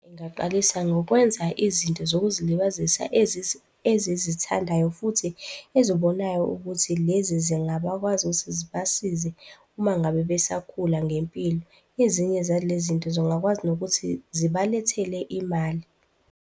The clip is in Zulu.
Ingaqalisa ngokwenza izinto zokuzilibazisa ezizithandayo futhi ezibonayo ukuthi lezi zingabakwazi ukuthi zibasize uma ngabe besakhula ngempilo. Ezinye zalezi zinto zingakwazi nokuthi zibalethele imali.